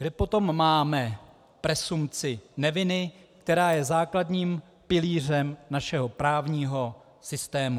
Kde potom máme presumpci neviny, která je základním pilířem našeho právního systému?